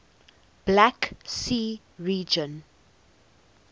black sea region